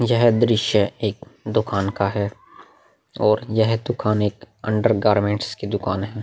यह दृश्य एक दुकान का है और यह दुकान एक अंडर गारमेंट्स की दुकान है।